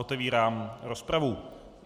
Otevírám rozpravu.